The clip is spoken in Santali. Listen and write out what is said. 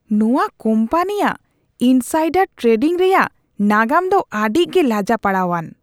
ᱱᱚᱶᱟ ᱠᱳᱢᱯᱟᱱᱤᱭᱟᱜ ᱤᱱᱥᱟᱭᱰᱟᱨ ᱴᱨᱮᱰᱤᱝ ᱨᱮᱭᱟᱜ ᱱᱟᱜᱟᱢ ᱫᱚ ᱟᱹᱰᱤᱜᱮ ᱞᱟᱡᱟᱯᱟᱲᱟᱣᱟᱱ ᱾